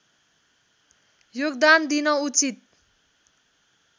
योगदान दिन उचित